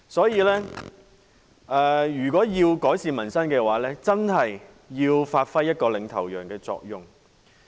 因此，如果要改善民生的話，政府真的要發揮領頭羊的作用。